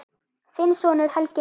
Þinn sonur, Helgi Heiðar.